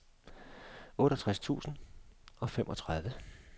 otteogtres tusind og femogtredive